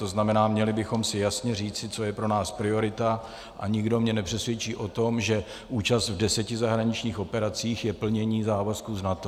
To znamená, měli bychom si jasně říci, co je pro nás priorita, a nikdo mě nepřesvědčí o tom, že účast v deseti zahraničních operacích je plnění závazků z NATO.